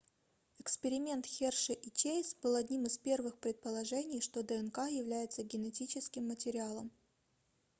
эксперимент херши и чейз был одним из первых предположений что днк является генетическим материалом